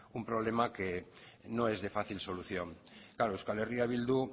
un problema que no es de fácil solución claro euskal herria bildu